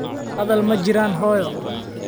Hadal ma jiraan hooyo.